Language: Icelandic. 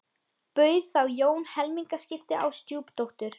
Bauð þá Jón helmingaskipti á stjúpdóttur